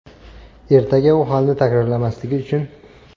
Ertaga u holni takrorlamasligi uchun.